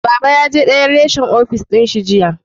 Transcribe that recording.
Baba ya je dayan reshen ofis dinshi jiya